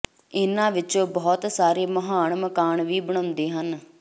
ਇਹਨਾਂ ਵਿੱਚੋਂ ਬਹੁਤ ਸਾਰੇ ਮਹਾਨ ਮਕਾਨ ਵੀ ਬਣਾਉਂਦੇ ਹਨ